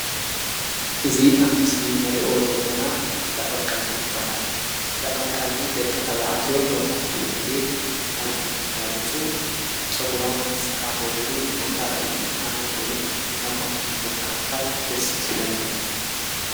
እዙ ኣብ ምስሊ ነሪኦ ዘለና እንዳቐምቃሚ በሃል እንዳቐምቃሚ ደገ ታውዕትዮ መብዛሕቱ ጊዜ ናብዙይ እንዳመጹ ጸጕሮም ዝተኻኸዱሉ ቦታ ዩ ኣነ እውን ናብ ኮም እቱይ ቦታ ኣምኻድ ደሢስብለኒእዩ